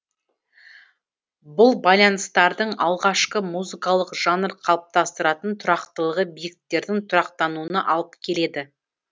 бұл байланыстардың алғашқы музыкалық жанр қалыптастыратын тұрақтылығы биіктіктердің тұрақтануына алып келеді